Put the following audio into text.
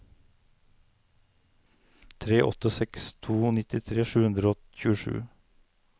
tre åtte seks to nittitre sju hundre og tjuesju